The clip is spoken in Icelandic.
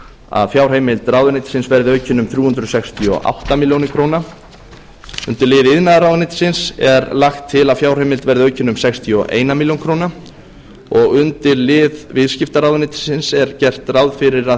að fjárheimild ráðuneytisins verði aukin um þrjú hundruð sextíu og átta ár undir lið iðnaðarráðuneytisins er lagt til að fjárheimild verði aukin um sextíu og eitt ár undir lið viðskiptaráðuneytisins er gert ráð fyrir að